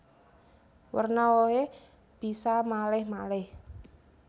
Werna wohé bisa malèh malèh